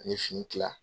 Ani fini kila